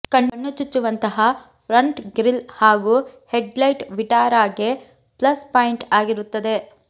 ಕಣ್ಣು ಚುಚ್ಚುವಂತಹ front grille ಹಾಗೂ ಹೆಡ್ ಲೈಟ್ ವಿಟಾರಾಗೆ ಪ್ಲಸ್ ಪಾಯಿಂಟ್ ಆಗಿರುತ್ತದೆ